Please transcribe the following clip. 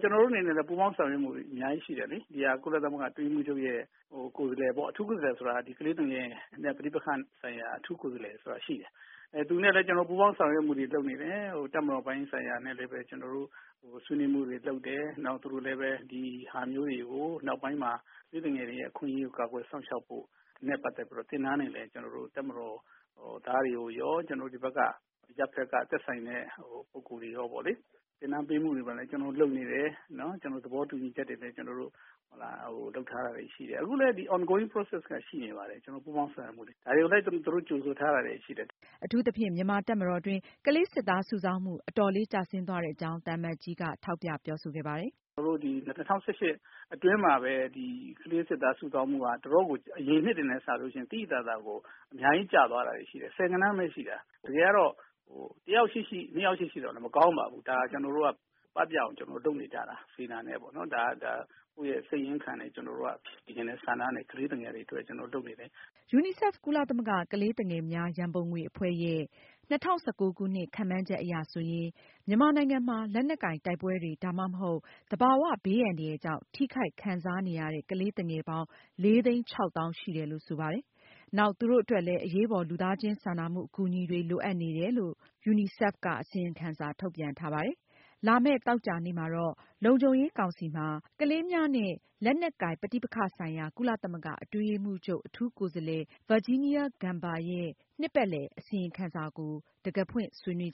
“ ကျနော်တို့ အနေနဲ့လည်း ပူးပေါင်းဆောင်ရွက်မှုတွေ အများကြီး ရှိနေတယ်လေ။ ဒီဟာ ကုလသမဂ္ဂ အတွင်းရေးမှူးချုပ်ရဲ့ ကိုယ်စားလှယ်ပေါ့။ အထူးကိုယ်စားလှယ် ဆိုတာ ကလေးသူငယ်နဲ့ ပဋိပက္ခဆိုင်ရာ အထူးကိုယ်စားလှယ်ဆိုတာ ရှိတယ်။ သူနဲ့လည်း ကျနော်တို့ ပူးပေါင်းဆောင်ရွက်မှုတွေ လုပ်နေတယ်။ တပ်မတော်ပိုင်း ဆိုင်ရာနဲ့လည်း ကျနော်တို့ ဆွေးနွေးမှုတွေ လုပ်တယ်။ နောက် သူတို့လည်းဘဲ ဒီဟာမျိုးတွေကို နောက်ပိုင်းမှာ ကလေးသူငယ်တွေရဲ့ အခွင့်အရေး ကာကွယ်စောင့်ရှောက်ဖို့နဲ့ ပတ်သက်လို့ သင်တန်းတွေလည်း ကျနော်တို့ တပ်မတော်သားတွေကိုရော ကျနော်တို့ ဒီဘက်က အရပ်ဘက်က သက်ဆိုင်တဲ့ ပုဂ္ဂိုလ်တွေရော ပေါ့လေ သင်တန်းပေးမှုတွေလည်း ကျနော်တို့ လုပ်နေတယ်။ ကျနော်တို့ သဘောတူညီချက်တွေလည်း ကျနော်တို့ လုပ်ထားတာတွေ ရှိတယ်။ အခုလည်း ဒီ ongoing process က ရှိနေပါတယ်။ ကျနော်တို့ ပူးပေါင်းဆောင်ရွက်မှုတွေ။ ဒါတွေကိုလည်း သူတို့ ကြိုဆိုထားတာတွေ ရှိတယ်။” အထူးသဖြင့် မြန်မာတပ်မတော်အတွင်း ကလေးစစ်သားစုဆောင်းမှု အတော်လေးကျဆင်းသွားတဲ့အကြောင်း သံအမတ်ကြီးက ထောက်ပြပြောဆိုခဲ့ပါတယ်။ “ ကျနော်တို့ ဒီ ၂၀၁၈ အတွင်းမှာဘဲ ဒီ ကလေးစစ်သား စုဆောင်းမှုက တော်တော်ကို အရင်နှစ်တွေနဲ့ စာလို့ ရှိရင် သိသိသာသာကို အများကြီး ကျသွားတာတွေ ရှိတယ်။ ဆယ်ဂဏန်း ဘဲ ရှိတာ။ တကယ်တန်းတော့ တယောက် ရှိရှိ နှစ်ယောက် ရှိရှိ မကောင်းပါဘူး။ ဒါ ကျနော်တို့က ပပျောက်အောင် လုပ်နေကြတာ။ စေတနာနဲ့ပေါ့နော်။ ဒါ ကိုယ့်ရဲ့ စိတ်ရင်းခံနဲ့ ကျနော်တို့က ရင်ထဲ ဆန္ဒနဲ့ ကလေးသူငယ်တွေ အတွက် ကျနော်တို့ လုပ်နေတယ်။” UNICEF ကုလသမဂ္ဂ ကလေးသူငယ်များ၊ ရန်ပုံငွေအဖွဲ့ ရဲ့ ၂၀၁၉ခုနှစ် ခန့်မှန်းချက်အရဆိုရင် မြန်မာနိုင်ငံမှာ လက်နက်ကိုင်တိုက်ပွဲတွေ ဒါမှမဟုတ် သဘာဝဘေးအန္တရာယ်ကြောင့် ထိခိုက် ခံစားနေရတဲ့ ကလေးသူငယ်ပေါင်း ၄၆၀,၀၀၀ ရှိတယ်လို့ ဆိုပါတယ်။ နောက်သူတို့အတွက်လည်း အရေးပေါ် လူသားချင်းစာနာမှုအကူအညီတွေ လိုအပ်နေတယ်လို့ UNICEF က အစီရင်ခံစာထုတ်ပြန်ထားပါတယ်။ လာမယ့် သောကြာနေ့ သြဂုတ်လ (၂)ရက်နေ့ လုံခြုံရေးကောင်စီမှာ ကလေးများနဲ့ လက်နက်ကိုင် ပဋိပက္ခဆိုင်ရာ ကုလသမဂ္ဂအတွင်းရေးမှူးချုပ် အထူးကိုယ်စားလှယ် Virginia Gamba ရဲ့ နှစ်ပတ်လည် အစီရင်ခံစာအပေါ် တံခါးဖွင့် ဆွေးနွေး